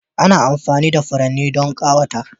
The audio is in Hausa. Ana amfani da furanni don ƙawata.